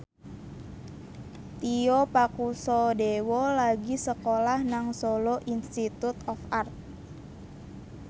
Tio Pakusadewo lagi sekolah nang Solo Institute of Art